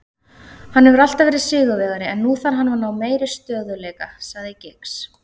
Hann hefur alltaf verið sigurvegari en nú þarf hann að ná meiri stöðugleika, sagði Giggs.